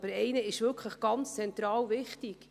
Aber einer ist wirklich von ganz zentraler Wichtigkeit.